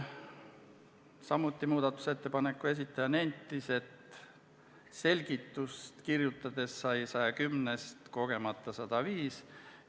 Samuti nentis muudatusettepaneku esitaja, et selgitust kirjutades sai 110-st kogemata 105.